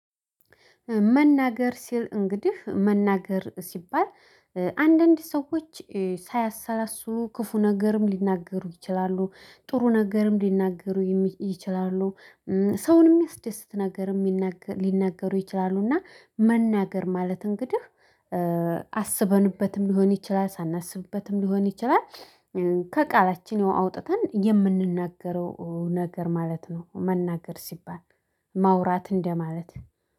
መናገር ሲል እንግዲህ መናገር ሲባል አንዳንድ ሰዎች ሳያሰላስሉ ክፉ ነገርም ሊናገሩ ይችላሉ ጥሩ ነገርም ሊናገሩ ይችላሉ ሰውን የሚያስደስት ነገርም ሊናገሩ ይችላሉ። እና መናገር ማለት እንግዲህ አስበንበትም ሊሆን ይችላል ሳናስብበትም ሊሆን ይችላል። ከቃላችን ያው አውጥተን የምንናገረው ነገር ማለት ነው። መናገር ሲባል ማውራት እንደማለት